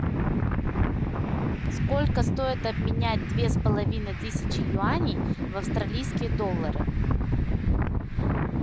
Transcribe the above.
сколько стоит обменять две с половиной тысячи юаней в австралийские доллары